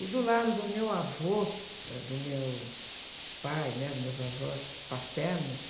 E do lado do meu avô, ãh, do meu pai, né? Dos meus avós paternos,